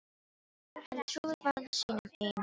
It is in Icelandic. Hann trúir varla sínum eigin augum.